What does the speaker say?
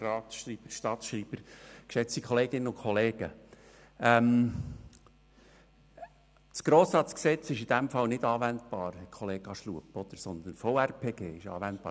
Das GRG ist in diesem Fall nicht anwendbar, Herr Kollega Schlup, sondern es kommt das VRPG zur Anwendung.